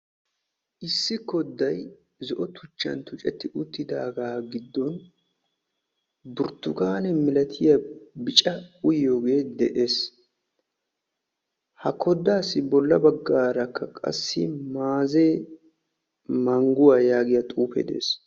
issi kodday zo''o tuchcha tuccetti uttidaaga giddon burttukaane malatiyaa bicca uyyiyooge de'ees. ha koddassi bolla baggaarakka qassi maaze mangguwaa yaagiya xuufe de'ees.